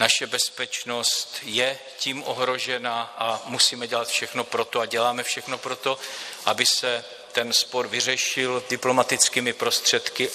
Naše bezpečnost je tím ohrožena a musíme dělat všechno pro to a děláme všechno pro to, aby se ten spor vyřešil diplomatickými prostředky.